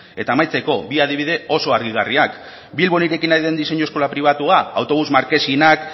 eta amaitzeko bi adibide oso argigarriak bilbon irekin nahi den diseinu eskola pribatua autobus markesinak